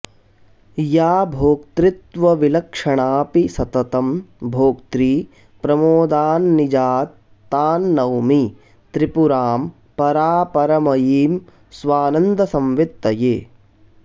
या भोक्तृत्वविलक्षणापि सततं भोक्त्री प्रमोदान्निजात् तां नौमि त्रिपुरां परापरमयीं स्वानन्दसंवित्तये